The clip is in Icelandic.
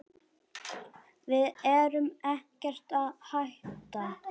Við erum ekkert að hætta.